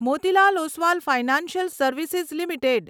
Motilal Oswal financial service limited